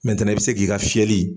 i bɛ se k'i ka fiyɛli.